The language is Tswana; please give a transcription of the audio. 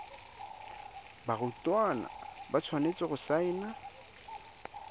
barutwana ba tshwanetse go saena